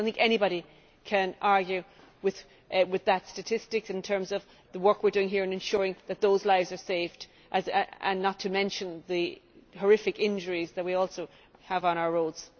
I do not think anybody can argue with that statistic in terms of the work we are doing here in ensuring that those lives are saved not to mention the horrific injuries that we also have on our roads.